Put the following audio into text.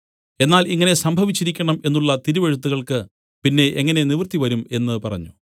എന്നാൽ ഇങ്ങനെ സംഭവിച്ചിരിക്കണം എന്നുള്ള തിരുവെഴുത്തുകൾക്ക് പിന്നെ എങ്ങനെ നിവൃത്തിവരും എന്നു പറഞ്ഞു